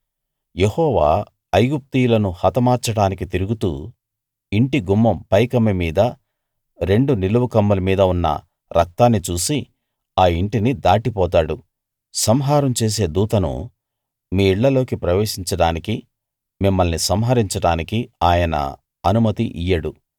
యెహోవా ఐగుప్తీయులను హతమార్చడానికి తిరుగుతూ ఇంటి గుమ్మం పైకమ్మి మీదా రెండు నిలువు కమ్ముల మీదా ఉన్న రక్తాన్ని చూసి ఆ ఇంటిని దాటిపోతాడు సంహారం చేసే దూతను మీ ఇళ్ళలోకి ప్రవేశించడానికి మిమ్మల్ని సంహరించడానికి ఆయన అనుమతి ఇయ్యడు